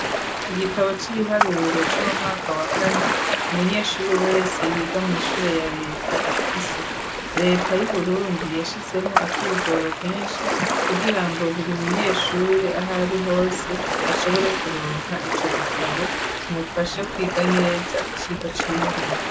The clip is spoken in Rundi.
Igitabo cibiharuro co 'mu mwaka wa kane . Umunyeshuri wese yiga mu ishure ya leta afise. Reta yu Burundi yashizemo ak'igoro kenshi kugira ngo buri munyeshure ahari hose ashobore kuronka ico gitabo kimufashe kwiga neza iciko cibiharuro.